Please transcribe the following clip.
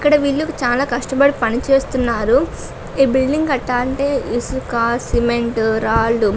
ఇక్కడ విలువ చాలా కష్టపడి పని చేస్తున్నారు. ఈ బిల్డింగ్ కటాలంటే ఇసుక సిమెంట్ రాళ్లు --